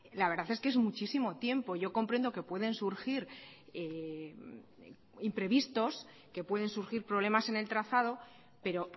la verdad es que es muchísimo tiempo yo comprendo que pueden surgir imprevistos que pueden surgir problemas en el trazado pero